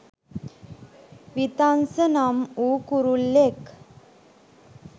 වීතංස නම් වූ කුරුල්ලෙක්.